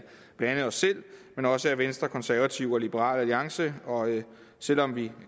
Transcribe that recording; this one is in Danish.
blandt andet os selv men også af venstre konservative og liberal alliance selv om vi